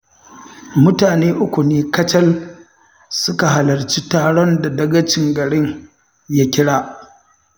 Mutane uku ne kacal suka halarci taron da dagacin garin ya kira